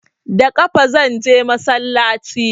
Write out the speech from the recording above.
Da ƙafa zanje masallaci